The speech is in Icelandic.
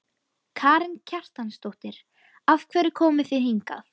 Karen Kjartansdóttir: Af hverju komuð þið hingað?